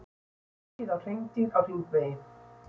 Ekið á hreindýr á hringvegi